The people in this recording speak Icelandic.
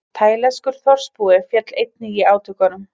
Taílenskur þorpsbúi féll einnig í átökunum